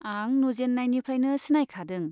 आं नुजेन्नायनिफ्राइनो सिनायखादों।